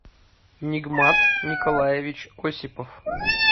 нигмат николаевич осипов